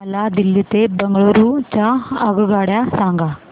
मला दिल्ली ते बंगळूरू च्या आगगाडया सांगा